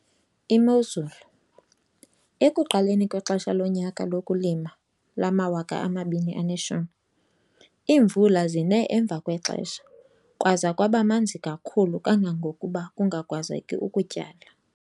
Imozulu - ekuqaleni kwexesha lonyaka lokulima lama-2010, iimvula zine emva kwexesha kwaza kwaba manzi kakhulu kangangokuba kungakwazeki ukutyala.